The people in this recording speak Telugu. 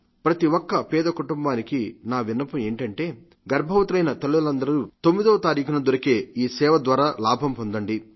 ప్రతిఒక్క పేద కుటుంబానికి నా విన్నపం ఏమిటంటే గర్భవతులైన తల్లులందరూ 9వ తారీఖున దొరికే ఈ సేవ ద్వారా లాభంపొందండి